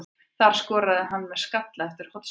Það skoraði hann með skalla eftir hornspyrnu.